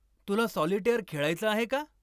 तुला सॉलिटेअर खेळायचं आहे का?